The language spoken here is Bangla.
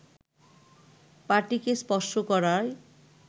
পা-টিকে স্পর্শ করার